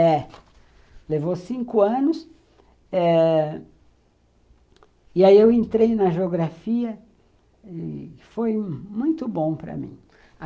É. Levou cinco anos eh e aí eu entrei na geografia e foi muito bom para mim.